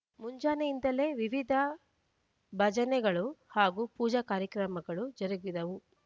ಮುಂಜಾನೆಯಿಂದಲೆ ವಿವಿಧ ಭಜನೆಗಳು ಹಾಗೂ ಪೂಜಾ ಕಾರ್ಯಕ್ರಮಗಳು ಜರುಗಿದವು